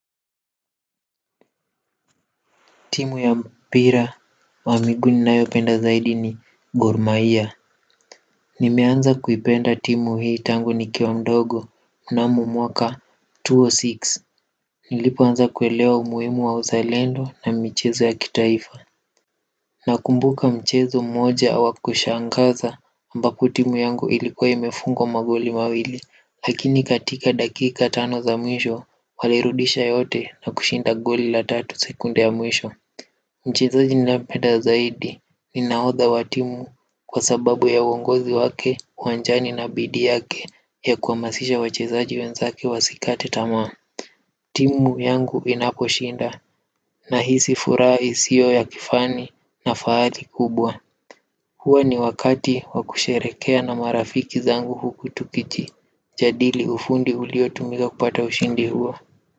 Timu ya mpira wa miguu ninayopenda zaidi ni gormahia. Nimeanza kuipenda timu hii tangu nikiwa mdogo mnamo mwaka mia mbili na sita. Nilipoanza kuelewa umuhimu wa uzalendo na michezo ya kitaifa nakumbuka mchezo moja wa kushangaza ambapo timu yangu ilikuwa imefungwa magoli mawili lakini katika dakika tano za mwisho walirudisha yote na kushinda goli la tatu sekunde ya mwisho mchezaji ninayempenda zaidi ni nahodha wa timu kwa sababu ya uongozi wake uwanjani na bidii yake ya kuhamasisha wachezaji wenzake wasikate tamaa timu yangu inaposhinda nahisi furaha isiyo ya kifani na fahari kubwa huwa ni wakati wa kusherehekea na marafiki zangu huku tukiji jadili ufundi uliotumika kupata ushindi huo.